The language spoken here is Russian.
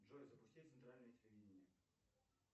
джой запусти центральное телевидение